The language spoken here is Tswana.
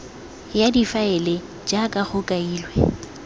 ya difaele jaaka go kailwe